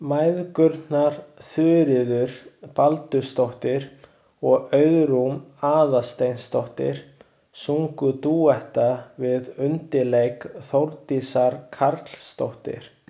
Mæðgurnar Þuríður Baldursdóttir og Auðrún Aðalsteinsdóttir sungu dúetta við undirleik Þórdísar Karlsdóttur.